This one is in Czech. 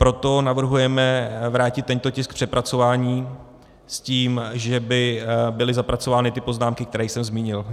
Proto navrhujeme vrátit tento tisk k přepracování s tím, že by byly zapracovány ty poznámky, které jsem zmínil.